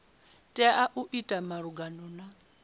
tea u ita malugana na